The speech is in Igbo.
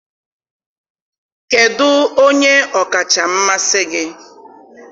kedụ onye ọkacha mmasị gị?